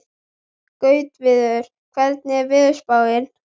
Gautviður, hvernig er veðurspáin?